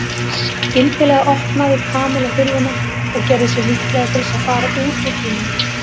Skyndilega opnaði Kamilla hurðina og gerði sig líklega til þess að fara út úr bílnum.